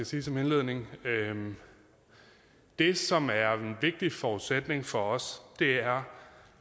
sige som indledning det som er en vigtig forudsætning for os er